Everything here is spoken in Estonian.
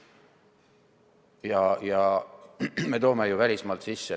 Me toome ju tööjõudu välismaalt sisse.